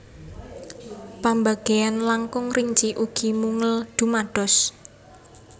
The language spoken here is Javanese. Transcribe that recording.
Pambagéyan langkung rinci ugi mungel dumados